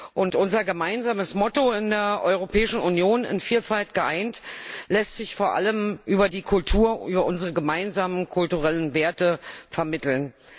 Und unser gemeinsames Motto in der Europäischen Union In Vielfalt geeint lässt sich vor allem über die Kultur, unsere gemeinsamen kulturellen Werte vermitteln.